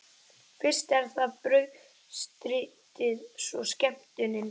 Fyrst er það brauðstritið, svo skemmtunin.